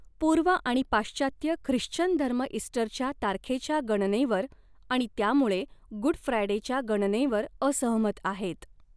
पूर्व आणि पाश्चात्य ख्रिश्चन धर्म इस्टरच्या तारखेच्या गणनेवर आणि त्यामुळे गुड फ्रायडेच्या गणनेवर असहमत आहेत.